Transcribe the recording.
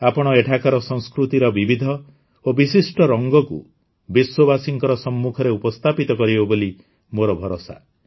ଆପଣ ଏଠାକାର ସଂସ୍କୃତିର ବିବିଧ ଓ ବିଶିଷ୍ଟ ରଙ୍ଗକୁ ବିଶ୍ୱବାସୀଙ୍କ ସମ୍ମୁଖରେ ଉପସ୍ଥାପିତ କରିବେ ବୋଲି ମୋର ଭରସା